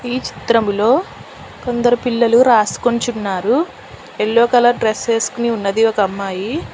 ఈ చిత్రంలో కొందరు పిల్లలు రాసుకుంచున్నారు యెల్లో కలర్ డ్రెస్ వేసుకొని ఉన్నది ఒక అమ్మాయి